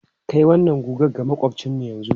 Kai wannan guga ga maƙwabcinmu yanzu!